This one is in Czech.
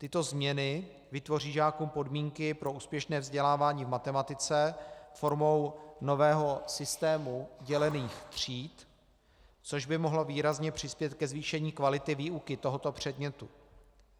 Tyto změny vytvoří žákům podmínky pro úspěšné vzdělávání v matematice formou nového systému dělených tříd, což by mohlo výrazně přispět ke zvýšení kvality výuky tohoto předmětu.